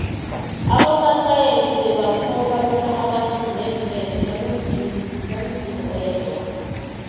abososayensi bebakholwa bona abantu neemfene banomzimu oyedwa